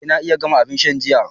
Eh na iya gama abin sha jiya.